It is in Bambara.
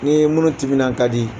Nin ye minnu timinan ka di.